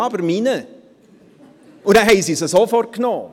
Ja, aber meiner!» Dann haben sie sie sofort genommen.